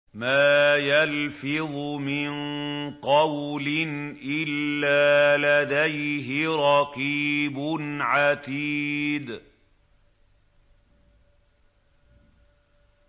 مَّا يَلْفِظُ مِن قَوْلٍ إِلَّا لَدَيْهِ رَقِيبٌ عَتِيدٌ